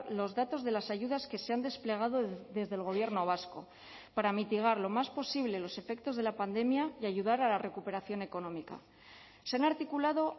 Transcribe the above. los datos de las ayudas que se han desplegado desde el gobierno vasco para mitigar lo más posible los efectos de la pandemia y ayudar a la recuperación económica se han articulado